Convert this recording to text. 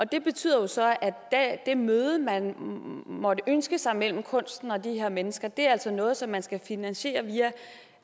det betyder jo så at det møde man måtte ønske sig mellem kunsten og de her mennesker altså er noget som man skal finansiere via